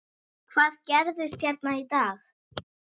Hvað gerðist hérna í dag?